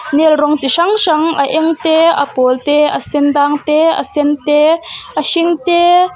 nail rawng chi hrang hrang a eng te a pawl te a sendang te a sen te a hring te --